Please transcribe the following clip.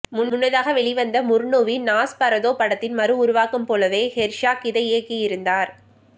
முன்னதாக வெளிவந்த முர்னூவின் நாஸ்பரதோ படத்தின் மறுஉருவாக்கம் போலவே ஹெர்சாக் இதை இயக்கியிருந்தார்